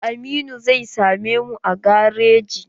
Aminu zai same mu a gareji.